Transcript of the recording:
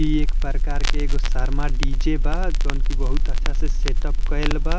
ई एक प्रकार के एगो शर्मा डी.जे. बा जोन की बहुत अच्छा से सेट-अप कइल बा।